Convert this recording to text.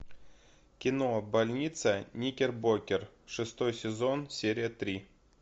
кино больница никербокер шестой сезон серия три